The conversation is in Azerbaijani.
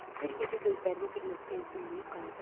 Bir gecə gözlərini bir nöqtəyə zilləyib qaldı.